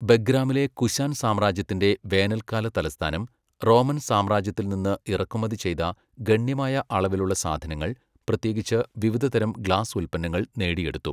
ബെഗ്രാമിലെ കുശാൻ സാമ്രാജ്യത്തിന്റെ വേനൽക്കാല തലസ്ഥാനം, റോമൻ സാമ്രാജ്യത്തിൽ നിന്ന് ഇറക്കുമതി ചെയ്ത ഗണ്യമായ അളവിലുള്ള സാധനങ്ങൾ, പ്രത്യേകിച്ച് വിവിധതരം ഗ്ലാസ് ഉൽപ്പന്നങ്ങൾ നേടിയെടുത്തു.